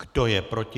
Kdo je proti?